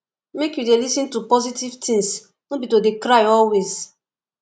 make you dey lis ten to positive things no be to dey cry always